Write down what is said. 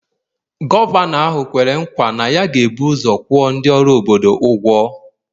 Gọvanọ ahụ kwere nkwa na ya ga-ebu ụzọ kwụọ ndị ọrụ obodo ụgwọ